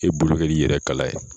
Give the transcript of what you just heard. E bolo kɛr'i yɛrɛ kala ye.